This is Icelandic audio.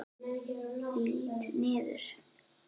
Lít niður.